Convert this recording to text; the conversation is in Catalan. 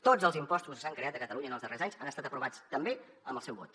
tots els impostos que s’han creat a catalunya en els darrers anys han estat aprovats també amb el seu vot